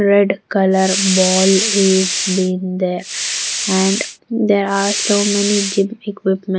Red color ball is been there and there are so many gym equipment.